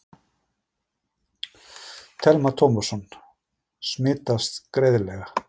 Telma Tómasson: Smitast greiðlega?